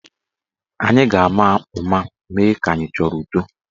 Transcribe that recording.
Anyị ga-ama ụma mee ka anyị achọrọ udo.